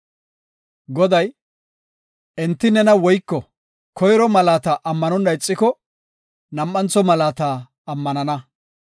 Goday, “Enti nena woyko koyro malaata ammanonna ixiko, nam7antho malaata ammanana.